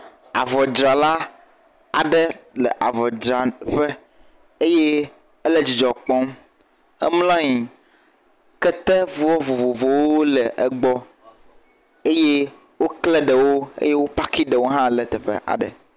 Avɔdrala aɖe le avɔdranƒe eye ele dzidzɔ kpɔm. Emla nyi. Ketevɔ vovovowo le egbɔ eye wokle ɖe wo eye wo paki ɖewo hã le teƒe aɖe.